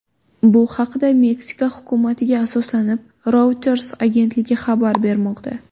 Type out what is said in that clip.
Bu haqda, Meksika hukumatiga asoslanib, Reuters agentligi xabar bermoqda .